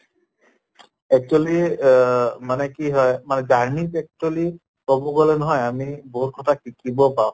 actually অহ মানে কি হয় মানে journey ত actually কʼব গʼলে নহয় আমি বহুত কথা শিকিব পাওঁ